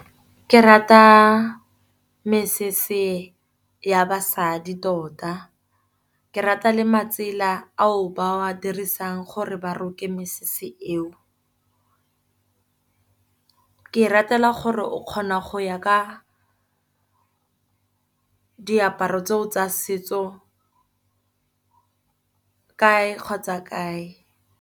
Ke rata mesese ya basadi tota, ke rata le matsela a o ba wa dirisang gore ba roke mesese eo. Ke e ratela gore o kgona go ya ka diaparo tseo tsa setso kae kgotsa kae.